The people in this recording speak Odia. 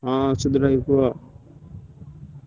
ହଁ ସୁଧୀର ଭାଇ କୁହ।